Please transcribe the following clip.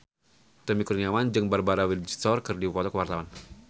Tommy Kurniawan jeung Barbara Windsor keur dipoto ku wartawan